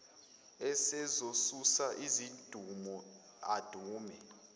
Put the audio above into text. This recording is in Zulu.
esezosusa izidumo adume